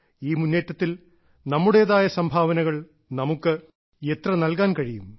ഈ മുന്നേറ്റത്തിൽ നമ്മുടേതായ സംഭാവനകൾ നമുക്ക് എത്ര നൽകാൻ കഴിയും